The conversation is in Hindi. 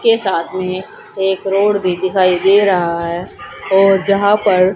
के साथ में एक रोड भी दिखाई दे रहा है और यहां पर--